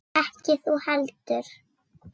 Ekki þú heldur.